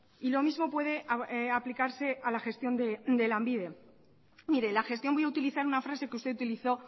y lo mismo puede aplicarse a la gestión de lanbide mire la gestión voy a utilizar una frase que usted utilizó